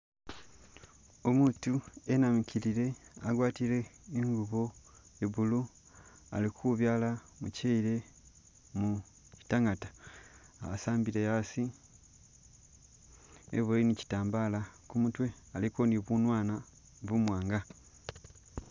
Umutu enamikilile agwatile ingubo iye blue, ali kubyala muchele mu chitangata asambile asi, eboyele ne katambala kumutwe aliko ne bunwanwa bumwanga.